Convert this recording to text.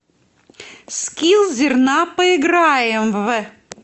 скилл зерна поиграем в